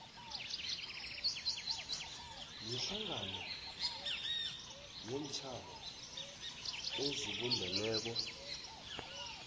yehlangano yeentjhaba ezibumbeneko